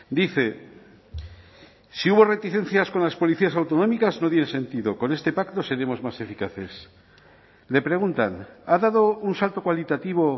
dice si hubo reticencias con las policías autonómicas no tiene sentido con este pacto seremos más eficaces le preguntan ha dado un salto cualitativo